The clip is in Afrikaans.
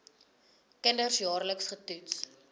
kinders jaarliks getoets